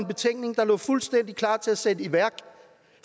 betænkning der lå fuldstændig klar til at blive sat i værk